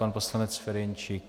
Pan poslanec Ferjenčík.